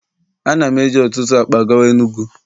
a na m eji otutu akpa gawa enugu.